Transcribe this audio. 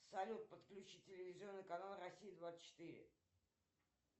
салют подключи телевизионный канал россия двадцать четыре